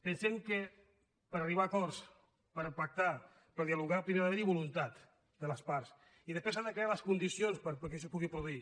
pensem que per arribar a acords per pactar per dialogar primer ha d’haverhi voluntat de les parts i després s’han de crear les condicions perquè això es pugui produir